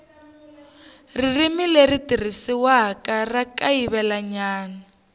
ririmi leri tirhisiwaka ra kayivelanyana